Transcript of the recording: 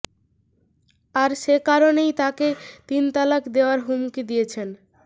আর সে কারণেই তাঁকে তিন তালাক দেওয়ার হুমকি দিয়েছেন